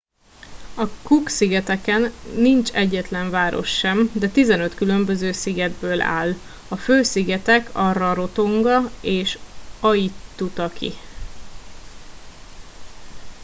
a cook szigeteken nincs egyetlen város sem de 15 különböző szigetből áll a fő szigetek a rarotonga és aitutaki